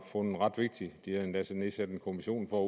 fundet ret vigtig de har endda nedsat en kommission for